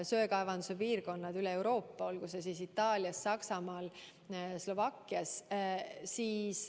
Söekaevanduse piirkondi on mitmel poole Euroopas, näiteks Itaalias, Saksamaal ja Slovakkias.